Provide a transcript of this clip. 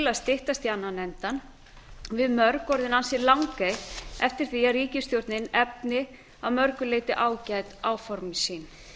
að styttast í annan endann við mörg orðin ansi langeyg eftir því að ríkisstjórnin efni að mörgu leyti ágæt áform sín